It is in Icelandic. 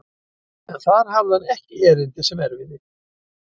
En þar hafði hann ekki erindi sem erfiði.